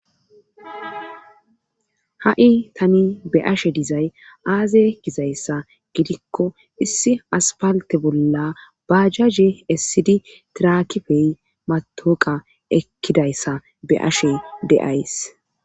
ha7i tani be'ashe dizay aaze gizayssa gidikko issi aspalte bolla baajaje essidi tirakifey matoqa ekkidayssa be ashe de7ays